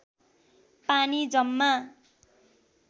पानी जम्मा